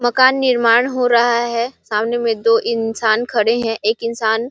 मकान निर्माण हो रहा है सामने में दो इंसान खड़े हैं एक इंसान --